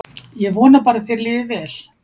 Ég vona bara að þér líði vel.